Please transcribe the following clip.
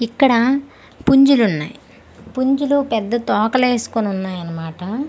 ఇక్కడ పుంజులు ఉన్నాయ్ పుంజులు పెద్ద తోకలు వేసుకోని ఉన్నాయి అనమాట--